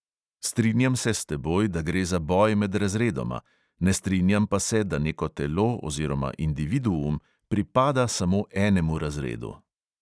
Strinjam se s teboj, da gre za boj med razredoma, ne strinjam pa se, da neko telo oziroma individuum pripada samo enemu razredu.